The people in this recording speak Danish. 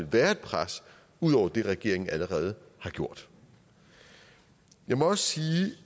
være et pres ud over det regeringen allerede har gjort jeg må også sige